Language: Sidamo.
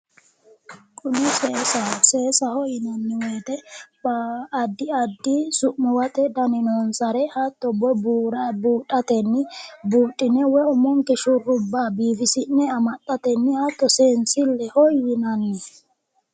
Kuni seesaho, seesaho yinanni woyite addi addi su'mmuwate dani noonsare hatto buura buudhate, budhine shurrubba biifisi'ne seensilleho yinanni